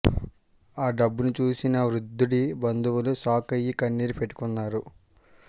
ఆ డబ్బును చూసిన వృద్దుడి బందువులు షాక్ అయ్యి కన్నీరు పెట్టుకున్నారు